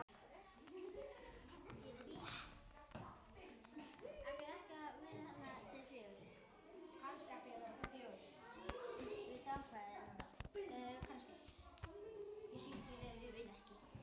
Og svo kom golfið.